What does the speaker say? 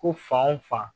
Ko fan o fan